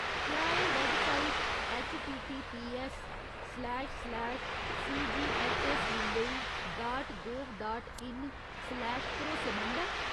क्या एह् website HTTPS slash slash सीजीऐच्चऐस्समुम्बई dot gov dot in slash भरोसेमंद ऐ ?